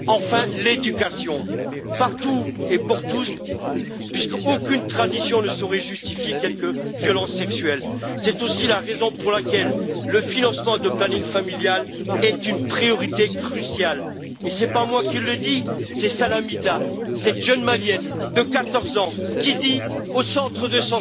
Le deuxième investissement, c'est l'éducation, partout et pour tous, puisqu'aucune tradition ne saurait justifier quelque violence sexuelle que ce soit. C'est aussi la raison pour laquelle le financement du planning familial est une priorité cruciale. Ce n'est pas moi qui le dis, c'est Salamita, cette jeune Malienne de 14 ans, qui dit Au centre